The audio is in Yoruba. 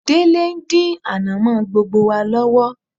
Délé ń dín ànàmọ́ gbogbo wa lọ́wọ́